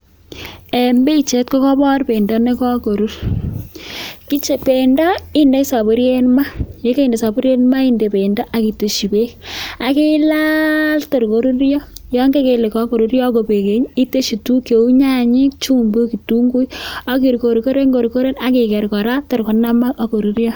En pichait kogobor bendo ne kogorur. Bendo indoi soburiet maa ye koinde soburiet maa inde bendo ak itesyi beek, ak ilaal tor koruryo. Yon keiger ile kogoruryo agobek beek ii itesyi tuguk cheu: nyanyik, chumbik, ketunguuk, ak ikorkoren ikorkoren ak iger kora tor konamak ak koruryo.